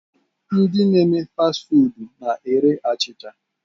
Ndi na eme fast foodu na-ere achịcha.